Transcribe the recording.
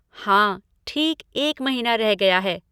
हाँ, ठीक एक महीना रह गया है।